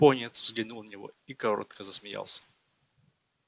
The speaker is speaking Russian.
пониетс взглянул на него и коротко засмеялся